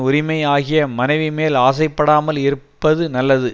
உரிமை ஆகிய மனைவிமேல் ஆசைப்படாமல் இருப்பது நல்லது